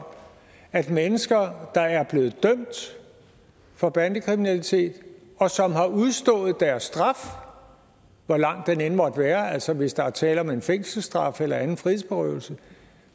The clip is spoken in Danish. om at mennesker der er blevet dømt for bandekriminalitet og som har udstået deres straf hvor lang den end måtte være altså hvis der er tale om en fængselsstraf eller anden frihedsberøvelse